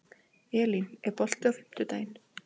Elín, er bolti á fimmtudaginn?